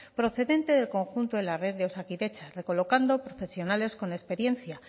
procedente del conjunto de la red de osakidetza recolocando profesionales con experiencia